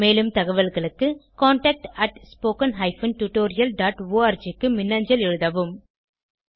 மேலும் தகவல்களுக்கு contactspoken tutorialorg க்கு மின்னஞ்சல் எழுதவும்